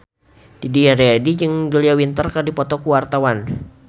Didi Riyadi jeung Julia Winter keur dipoto ku wartawan